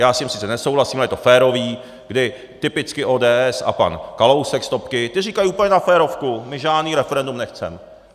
Já s tím sice nesouhlasím, ale je to férové, kdy typicky ODS a pan Kalousek z topky, ti říkají úplně na férovku, my žádné referendum nechceme.